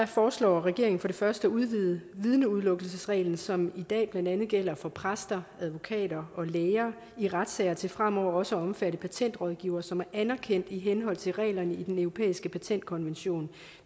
foreslår regeringen for det første at udvide vidneudelukkelsesreglen som i dag blandt andet gælder for præster advokater og læger i retssager til fremover også at omfatte patentrådgivere som er anerkendte i henhold til reglerne i den europæiske patentkonvention